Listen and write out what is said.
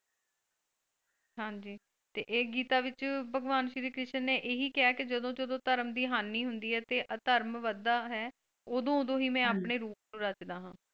ਹਾਂਜੀ ਤੇ ਇਹ ਗੀਤਾ ਵਿੱਚ ਭਗਵਾਨ ਸ਼੍ਰੀ ਕ੍ਰਿਸ਼ਨ ਨੇ ਇਹੀ ਕਿਹਾ ਕਿ ਜਦੋਂ ਜਦੋਂ ਧਰਮ ਦੀ ਹਾਨੀ ਹੁੰਦੀ ਹੈ ਅਤੇ ਅਧਰਮ ਵੱਧਦਾ ਹੈ ਉਦੋਂ ਉਦੋਂ ਹੀ ਮੈਂ ਆਪਣੇ ਰੂਪ ਨੂੰ ਰਚਦਾ ਹਾਂ।